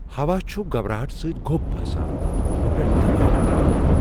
ہوا چھُ گھبراہٹ سۭتۍ گۄب باسان ، مے٘ پیٹھ دباو تر٘اوان ۔